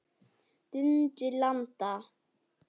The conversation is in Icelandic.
Dundi landa!